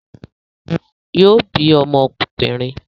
Yóò bí ọmọ obìnrin